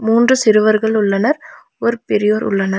மூன்று சிறுவர்கள் உள்ளனர் ஒரு பெரியவர் உள்ளன.